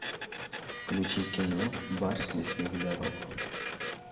включи кино барс лесных дорог